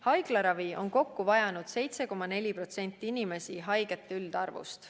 Haiglaravi on kokku vajanud 7,4% inimesi haigete üldarvust.